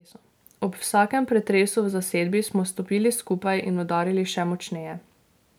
Ob vsakem pretresu v zasedbi smo stopili skupaj in udarili še močneje.